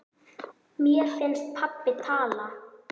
Mér finnst pabbi tala.